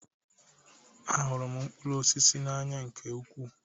Ahụrụ m mkpụrụ osisi n'anya nke ukwuu